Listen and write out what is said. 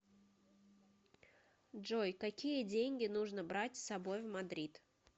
джой какие деньги нужно брать с собой в мадрид